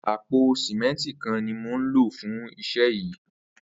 Àpó sìmẹntí kán ni mó n ló fùn iṣẹ yi